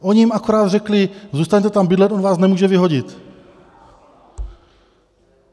Oni jim akorát řekli - zůstaňte tam bydlet, on vás nemůže vyhodit.